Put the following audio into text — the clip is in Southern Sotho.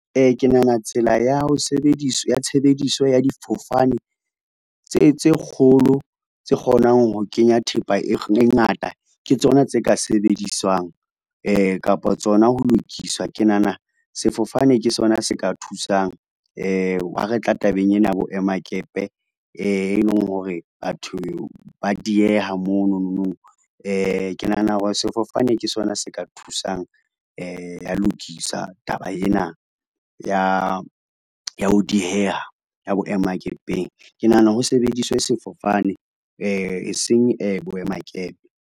Ke nahana tsela ya tshebediso ya difofane tse kgolo tse kgonang ho kenya thepa e ngata ke tsona tse ka sebediswang kapa tsona ho lokiswa. Ke nahana sefofane ke sona se ka thusang, ha re tla tabeng ena ya boema-kepe e leng hore batho ba dieha monono. Ke nahana hore sefofane ke sona se ka thusang ya lokisa taba ena ya ho dieha ya boema-kepeng. Ke nahana ho sebediswe sefofane e seng boema-kepe.